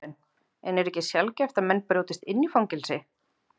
Karen: En er ekki sjaldgæft að menn brjótist inn í fangelsi?